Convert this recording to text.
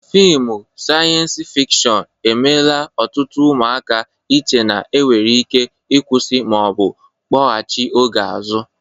Fịmụ saịyens fikshọn emela ọtụtụ ụmụaka iche na e nwere ike ịkwụsị ma ọ bụ kpọgachị oge azụ.